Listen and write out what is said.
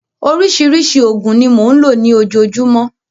Oríṣiríṣi òògùn ni mò ń lò ní ojoojúmọ́.